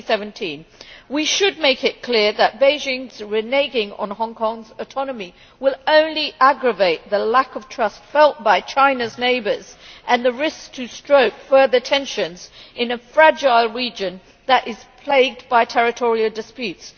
2017. We should make it clear that Beijing's reneging on Hong Kong's autonomy will only aggravate the lack of trust felt by China's neighbours and risk to stoke further tensions in a fragile region that is plagued by territorial disputes.